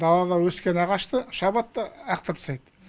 далада өскен ағашты шабады да лақтырып тастайды